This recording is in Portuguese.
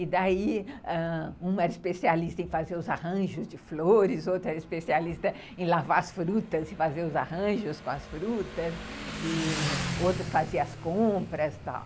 E daí, ãh, uma era especialista em fazer os arranjos de flores, outra era especialista em lavar as frutas e fazer os arranjos com as frutas, e outra fazia as compras e tal.